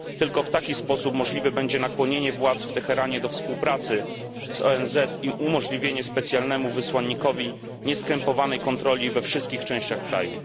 Tylko w taki sposób możliwe będzie nakłonienie władz w Teheranie do współpracy z ONZ i umożliwienie specjalnemu wysłannikowi nieskrępowanej kontroli we wszystkich częściach kraju.